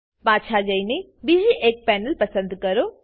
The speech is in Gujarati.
પાછા જઈને બીજી એક પેનલ પસંદ કરો